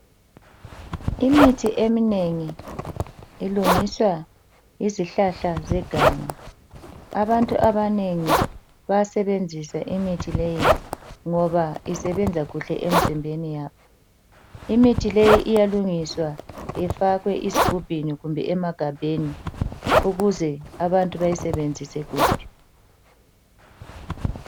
Imithi eminengi ilungiswa yizihlahla zeganga. Abantu abanengi bayasebenzisa imithi leyi ngoba isebenza kuhle emizimbeni yabo. Imithi leyi iyalungiswa ifakwe ezigubhini kumbe emagabheni ukuze abantu bayisebenzise kuhle.